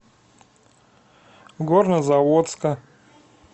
горнозаводска